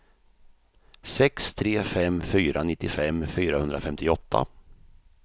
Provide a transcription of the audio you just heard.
sex tre fem fyra nittiofem fyrahundrafemtioåtta